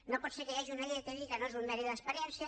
no pot ser que hi hagi una llei que digui que no és un mèrit l’experiència